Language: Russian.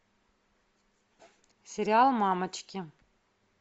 сериал мамочки